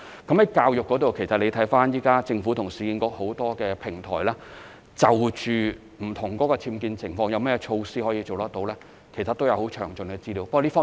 在教育方面，政府現時與市建局在很多平台上就不同僭建情況可以做到甚麼措施，其實也有很詳盡的資料。